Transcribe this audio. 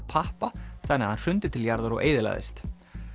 pappa þannig að hann hrundi til jarðar og eyðilagðist